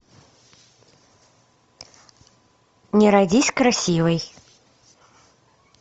не родись красивой